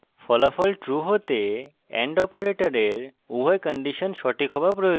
ফলাফল true হতে and অপারেটরের উভয় কন্ডিশন সঠিক হওয়া প্রয়োজন